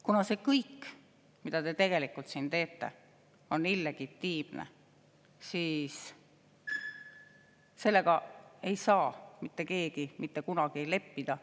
Kuna see kõik, mida te teete, on illegitiimne, siis sellega ei saa mitte keegi mitte kunagi leppida.